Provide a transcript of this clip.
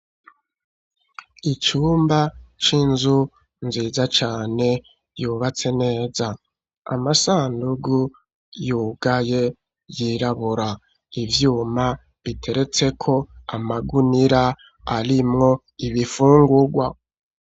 Icumba c'inzu nziza cane, yubatse neza amasandugu yugaye yirabura ivyuma biteretse ko amagunira arimwo ibifungugwa.